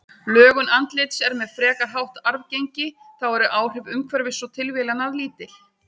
Lögun andlits er með frekar hátt arfgengi, þá eru áhrif umhverfis og tilviljana lítil.